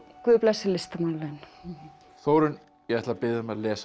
guð blessi listamannalaun Þórunn ég ætla að biðja þig að lesa